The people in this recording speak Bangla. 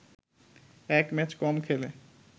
এক ম্যাচ কম খেলে